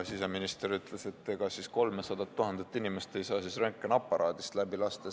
Siseminister ütles, et ega siis 300 000 inimest ei saa röntgeniaparaadist läbi lasta.